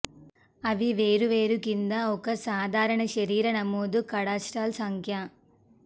అవి వేరువేరు కింద ఒక సాధారణ శరీర నమోదు కాడాస్ట్రాల్ సంఖ్య